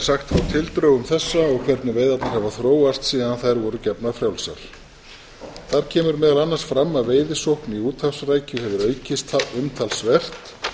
sagt frá tildrögum þessa og hvernig veiðarnar hafa þróast síðan þær voru gefnar frjálsar þar kemur meðal annars fram að veiðisókn í úthafsrækju hefur aukist umtalsvert